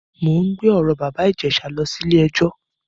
Mò ń gbé ọ̀rọ̀ bàbá Ìjẹ̀ṣà lọ sí ilé-ẹjọ.